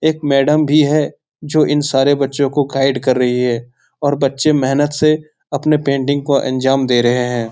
एक मैडम भी है जो इन सारे बच्चों को गाइड कर रही हैऔर बच्चे मेहनत से आपने पेंटिंग को अंजाम दे रहे हैं।